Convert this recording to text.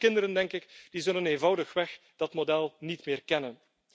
En onze kinderen, denk ik, die zullen eenvoudigweg dat model niet meer kennen.